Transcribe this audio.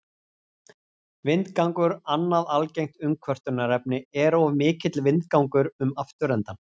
Vindgangur Annað algengt umkvörtunarefni er of mikill vindgangur um afturendann.